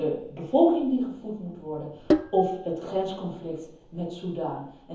Je bevolking die gevoed moet worden, of het grensconflict met Soedan.